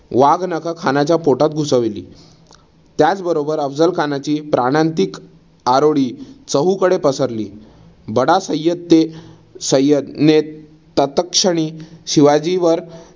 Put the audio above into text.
वाघनखं खानाच्या पोटात घुसवली. त्याचबरोबर अफझल खानची प्राणांतिक आरोळी चहूकडे पसरली. बडा सय्यद ते सय्यदने त्याचक्षणी शिवाजीवर